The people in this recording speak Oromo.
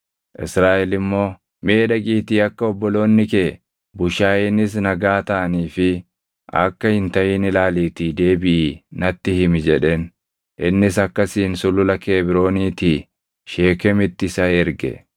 Israaʼel immoo, “Mee dhaqiitii akka obboloonni kee, bushaayeenis nagaa taʼanii fi akka hin taʼin ilaaliitii deebiʼii natti himi” jedheen. Innis akkasiin Sulula Kebrooniitii Sheekemitti isa erge. Yoosefis Sheekem gaʼe;